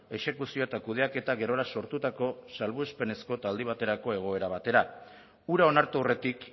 exekuzioa eta kudeaketa gerora sortutako salbuespenezko eta aldi baterako egoera batera hura onartu aurretik